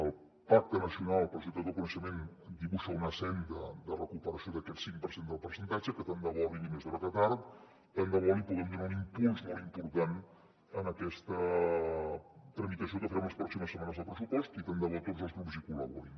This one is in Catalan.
el pacte nacional per la societat del coneixement dibuixa una senda de recuperació d’aquest cinc per cent del percentatge que tant de bo arribi més d’hora que tard tant de bo li puguem donar un impuls molt important en aquesta tramitació que farem les pròximes setmanes del pressupost i tant de bo tots els grups hi col·laborin